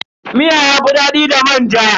Miya yafi dadi da manja.